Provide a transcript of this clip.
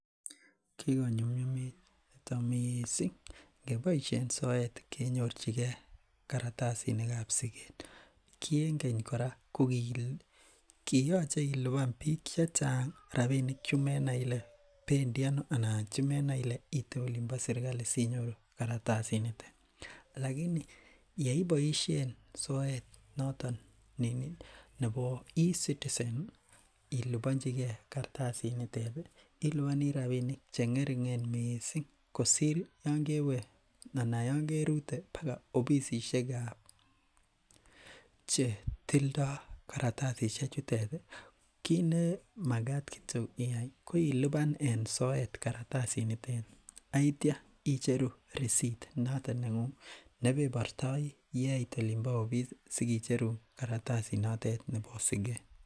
Kiko nyum nyum nito missing ingeboisien soet akenyorchike kartasitab siket. Ki en keny kora ko kiache iluban chechang rabinik chemenai Ile bendii ano anan rabinik chebendi ano ite Olin bo serkali sinyoru kartasit noto. Alaini yeiboisien soet noton nebo e citizen ih ilubanchike kartasit nitet ih ilubani rabinik che ng'ering'en missing kosir Yoon kewe anan Yoon kerute baga ofisisiekab chetildo kartasisiek chuton ih kit ne magat kityo iyai ko iluban en soet ih, kartasit nitet ih aitia icheru eicept noton neng'ung'et nebenortai yeit olonbo ofis sikicherun kartasit notet nebo siket.